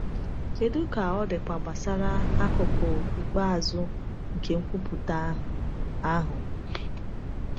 Kedu ka ọ dịkwa gbasara akụkụ ikpeazụ nke nkwupụta ahụ? ahụ?